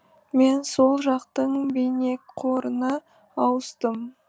мен сол жақтың бейнеқорына ауыстым